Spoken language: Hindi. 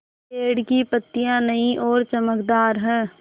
पेड़ की पतियां नई और चमकदार हैँ